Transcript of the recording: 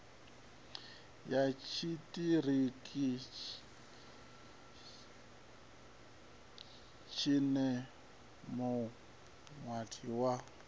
ya tshiṱiriki tshine muwani wa